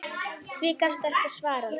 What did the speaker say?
Því gastu ekki svarað.